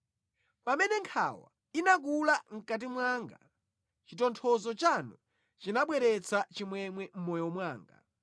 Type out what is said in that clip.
Pamene nkhawa inakula mʼkati mwanga, chitonthozo chanu chinabweretsa chimwemwe mʼmoyo mwanga.